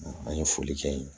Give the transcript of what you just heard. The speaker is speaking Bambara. An ye foli kɛ yen